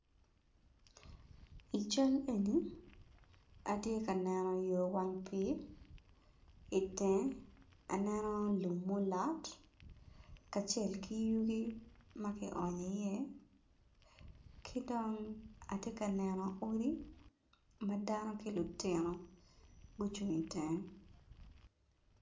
I cal eno atye ka neno wang pii, i teng aneno lum ma olot kacel ki yugi ma kionyo iye ki dong atye ka neno odi ma dano gucung i tenge